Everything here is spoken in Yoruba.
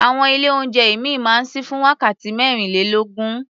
Àwọn ilé-oúnjẹ ìmíì máa ń ṣí fún wákàtí mẹ́rìnlélógún.